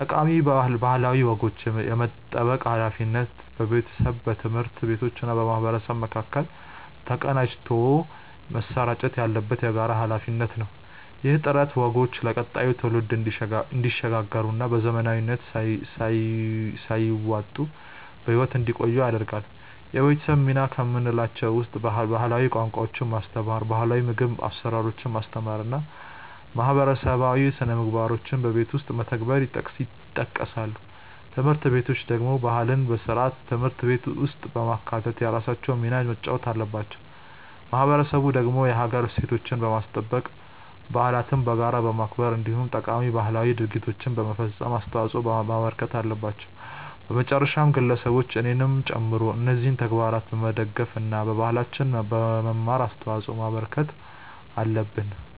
ጠቃሚ ባህላዊ ወጎችን የመጠበቅ ሃላፊነት በቤተሰብ፣ በትምህርት ቤቶችና በማህበረሰብ መካከል ተቀናጅቶ መሰራጨት ያለበት የጋራ ሃላፊነት ነው። ይህ ጥረት ወጎቹ ለቀጣዩ ትውልድ እንዲሸጋገሩና በዘመናዊነት ሳይዋጡ በህይወት እንዲቆዩ ያደርጋል። የቤተሰብ ሚና ከምንላቸው ውስጥ ባህላዊ ቋንቋዎችን ማስተማር፣ ባህላው የምግብ አሰራሮችን ማስተማር እና ማህበረሰባዊ ስነምግባሮችን በቤት ውስጥ መተግበር ይጠቀሳሉ። ትምህርት ቤቶች ደግሞ ባህልን በስርዓተ ትምህርት ውስጥ በማካተት የራሳቸውን ሚና መጫወት አለባቸው። ማህበረሰቡ ደግሞ የሀገር እሴቶችን በማስጠበቅ፣ በዓለትን በጋራ በማክበር እንዲሁም ጠቃሚ ባህላዊ ድርጊቶችን በመፈፀም አስተዋጽዖ ማበርከት አለበት። በመጨረሻም ግለሰቦች እኔንም ጨምሮ እነዚህን ተግባራት በመደገፍ እና ባህላችንን በመማር አስተዋጽዖ ማበርከት አለብን።